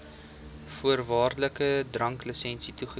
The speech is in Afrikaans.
voorwaardelike dranklisensie toeken